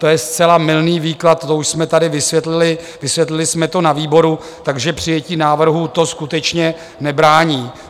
To je zcela mylný výklad, to už jsme tady vysvětlili, vysvětlili jsme to na výboru, takže přijetí návrhu to skutečně nebrání.